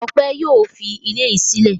Ọpẹ́ yóò fi ilé yìí sílẹ̀.